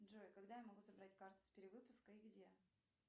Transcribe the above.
джой когда я смогу забрать карту с перевыпуска и где